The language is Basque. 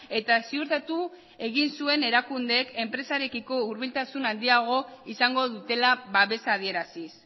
eta ziurtatu egin zuen erakundeek enpresarekiko hurbiltasun handiagoa izango dutela babesa adieraziz